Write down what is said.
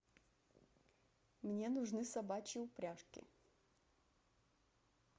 мне нужны собачьи упряжки